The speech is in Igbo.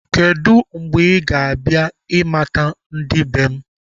Kedu mgbe ị ga-abịa ị mata ndị be m?